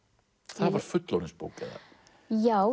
það var fullorðinsbók eða já